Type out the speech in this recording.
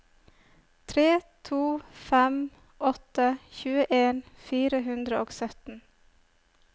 tre to fem åtte tjueen fire hundre og sytten